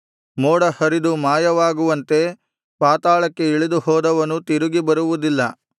ಮೋಡ ಹರಿದು ಮಾಯವಾಗುವಂತೆ ಪಾತಾಳಕ್ಕೆ ಇಳಿದು ಹೋದವನು ತಿರುಗಿ ಬರುವುದಿಲ್ಲ